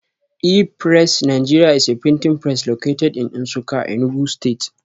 E-pressiNigeria is a printing press located in Nsukka Enugu stste